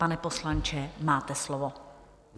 Pane poslanče, máte slovo.